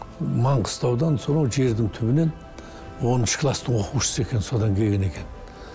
маңғыстаудан сонау жердің түбінен оныншы класстың оқушысы екен содан келген екен